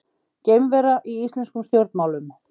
Geimvera í íslenskum stjórnmálum